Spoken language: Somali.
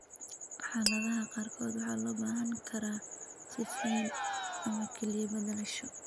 Xaaladaha qaarkood waxaa loo baahan karaa sifeyn ama kelyo beddelasho.